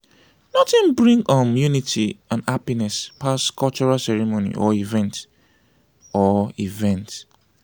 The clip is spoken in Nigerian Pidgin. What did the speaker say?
nothing bring um unity and happiness pass cultural ceremony or event. or event.